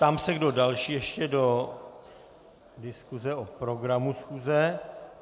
Ptám se, kdo další ještě do diskuse o programu schůze.